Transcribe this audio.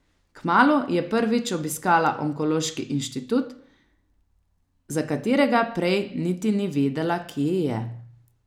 Kmalu je prvič obiskala Onkološki inštitut, za katerega prej niti ni vedela, kje je.